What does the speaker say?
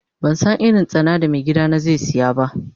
Ban san irin tsana da mai gida na zai siya ba.